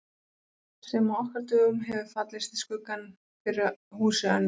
Sem á okkar dögum hefur fallið í skuggann fyrir húsi Önnu